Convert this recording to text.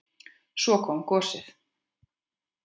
Svo kom gosið!